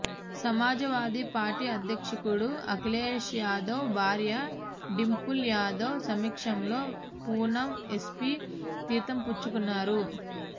Samajwadi party అధ్యక్షుడు అఖిలేష్యాదవ్ భార్య డింపుల్ యాదవ్ సమక్షంలో పూనం ఎస్పీ తీర్థం పుచ్చుకున్నారు